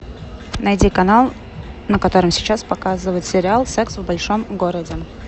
найди канал на котором сейчас показывают сериал секс в большом городе